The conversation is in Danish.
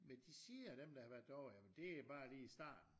Men de siger dem der har været derovre jamen det er bare lige i starten